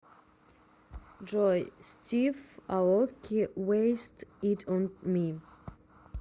джой стив аоки вэйст ит он ми